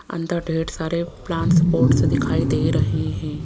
अंदर ढेर सारे प्लांटस पोटस दिखाई दे रहे हैं।